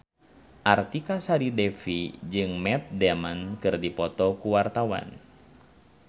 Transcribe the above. Artika Sari Devi jeung Matt Damon keur dipoto ku wartawan